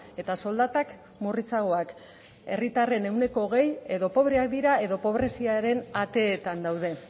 eta soldatak murritzagoak herritarren ehuneko hogei edo pobreak dira edo pobreziaren ateetan daude